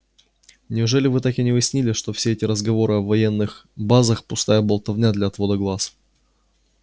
неужели вы так и не уяснили что все эти разговоры о военных базах пустая болтовня для отвода глаз